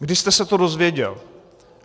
Kdy jste se to dozvěděl?